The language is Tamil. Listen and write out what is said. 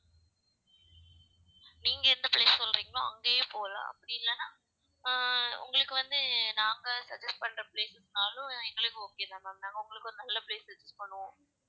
நீங்க எந்த place சொல்றீங்களோ அங்கேயே போலாம் அப்படி இல்லன்னா ஆஹ் உங்களுக்கு வந்து நாங்க suggest பண்ற places னாலும் எங்களுக்கு okay தான் ma'am நாங்க உங்களுக்கு ஒரு நல்ல place suggest பண்ணுவோம்